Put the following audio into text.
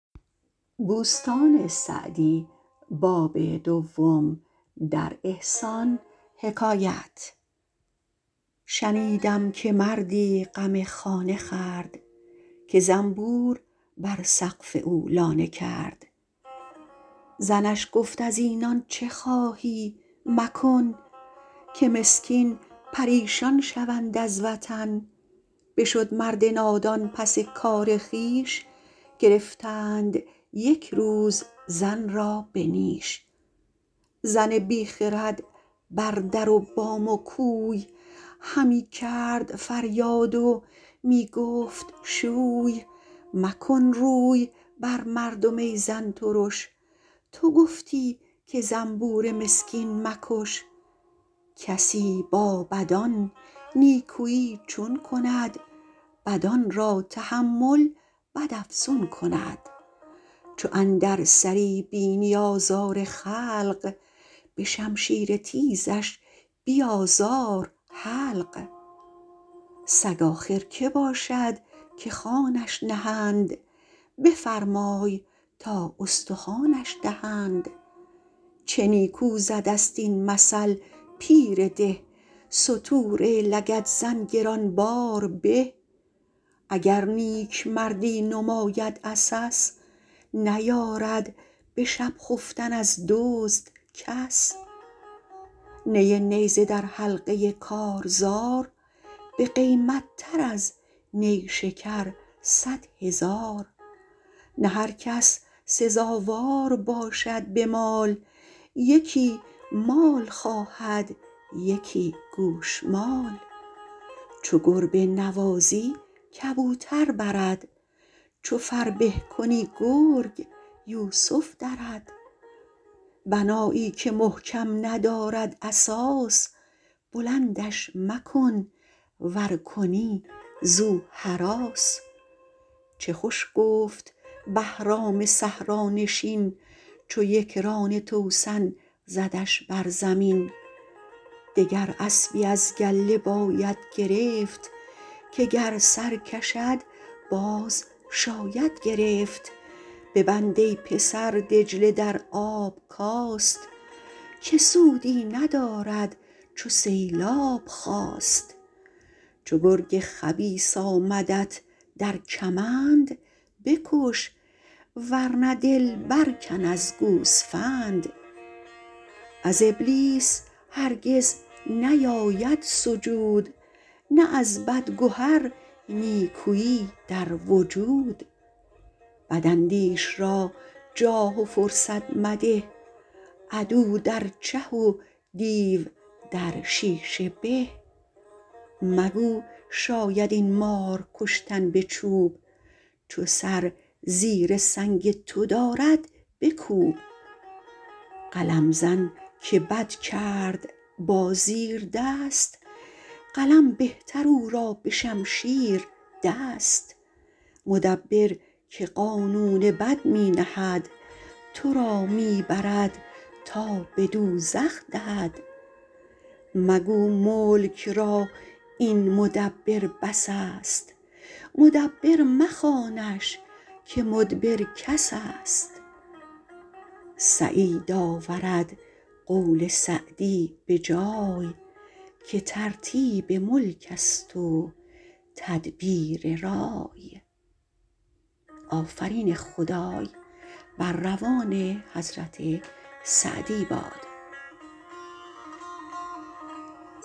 شنیدم که مردی غم خانه خورد که زنبور بر سقف او لانه کرد زنش گفت از اینان چه خواهی مکن که مسکین پریشان شوند از وطن بشد مرد نادان پس کار خویش گرفتند یک روز زن را به نیش زن بی خرد بر در و بام و کوی همی کرد فریاد و می گفت شوی مکن روی بر مردم ای زن ترش تو گفتی که زنبور مسکین مکش کسی با بدان نیکویی چون کند بدان را تحمل بد افزون کند چو اندر سری بینی آزار خلق به شمشیر تیزش بیازار حلق سگ آخر که باشد که خوانش نهند بفرمای تا استخوانش دهند چه نیکو زده ست این مثل پیر ده ستور لگدزن گران بار به اگر نیکمردی نماید عسس نیارد به شب خفتن از دزد کس نی نیزه در حلقه کارزار بقیمت تر از نیشکر صد هزار نه هر کس سزاوار باشد به مال یکی مال خواهد یکی گوشمال چو گربه نوازی کبوتر برد چو فربه کنی گرگ یوسف درد بنایی که محکم ندارد اساس بلندش مکن ور کنی زو هراس چه خوش گفت بهرام صحرانشین چو یکران توسن زدش بر زمین دگر اسبی از گله باید گرفت که گر سر کشد باز شاید گرفت ببند ای پسر دجله در آب کاست که سودی ندارد چو سیلاب خاست چو گرگ خبیث آمدت در کمند بکش ور نه دل بر کن از گوسفند از ابلیس هرگز نیاید سجود نه از بد گهر نیکویی در وجود بد اندیش را جاه و فرصت مده عدو در چه و دیو در شیشه به مگو شاید این مار کشتن به چوب چو سر زیر سنگ تو دارد بکوب قلم زن که بد کرد با زیردست قلم بهتر او را به شمشیر دست مدبر که قانون بد می نهد تو را می برد تا به دوزخ دهد مگو ملک را این مدبر بس است مدبر مخوانش که مدبر کس است سعید آورد قول سعدی به جای که ترتیب ملک است و تدبیر رای